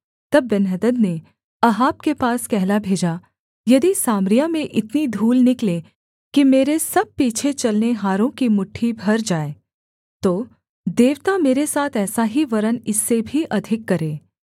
तब बेन्हदद ने अहाब के पास कहला भेजा यदि सामरिया में इतनी धूल निकले कि मेरे सब पीछे चलनेहारों की मुट्ठी भर जाए तो देवता मेरे साथ ऐसा ही वरन् इससे भी अधिक करें